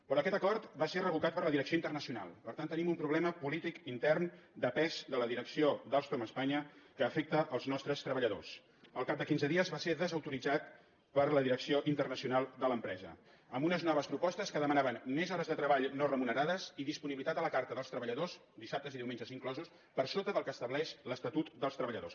però aquest acord va ser revocat per la direcció internacional per tant tenim un problema polític intern de pes de la direcció d’alstom espanya que afecta els nostres treballadors al cap de quinze dies va ser desautoritzat per la direcció internacional de l’empresa amb unes noves propostes que demanaven més hores de treball no remunerades i disponibilitat a la carta dels treballadors dissabtes i diumenges inclosos per sota del que estableix l’estatut dels treballadors